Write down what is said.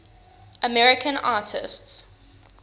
american artists